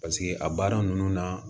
Paseke a baara ninnu na